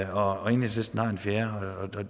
og enhedslisten har en fjerde og